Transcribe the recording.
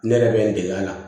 Ne yɛrɛ bɛ n dege a la